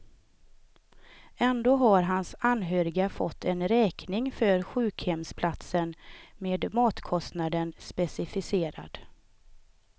Ändå har hans anhöriga fått en räkning för sjukhemsplatsen med matkostnaden specificerad.